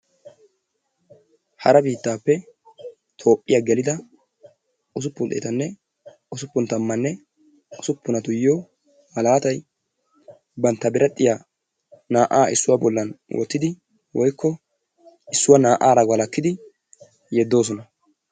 Hara biittaappe Toophphiya gelida usuppun xeetanne usuppun tammanne usuppunatuyyo malaatay, bantta biradhdhiya naa"aa issuwa bollan wottidi/ issuwa naa"aara walkkidi yeddoosona.